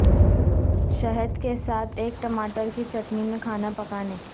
شہد کے ساتھ ایک ٹماٹر کی چٹنی میں کھانا پکانے